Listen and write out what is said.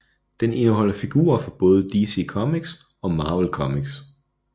Den indeholder figurer fra både DC Comics og Marvel Comics